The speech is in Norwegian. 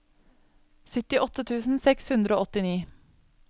syttiåtte tusen seks hundre og åttini